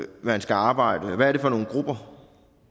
man skal arbejde hvad er det for nogle grupper